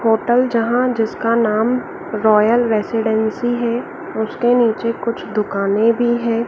Hotel जहां जिसका नाम रॉयल रेजिडेंसी है उसके नीचे कुछ दुकानें भी है।